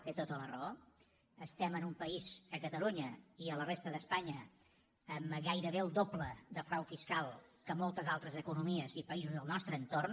té tota la raó estem en un país a catalunya i a la resta d’espanya amb gairebé el doble de frau fiscal que moltes altres economies i països del nostre entorn